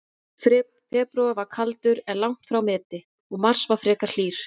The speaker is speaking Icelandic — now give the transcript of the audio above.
Febrúar var kaldur, en langt frá meti, og mars var frekar hlýr.